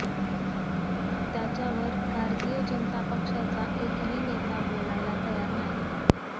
त्याच्यावर भारतीय जनता पक्षाचा एकही नेता बोलायला तयार नाही